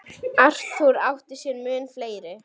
Arthur átti sér mun fleiri.